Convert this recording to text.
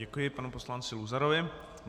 Děkuji panu poslanci Luzarovi.